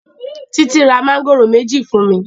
Titi ra Mángòrò méjì fún mí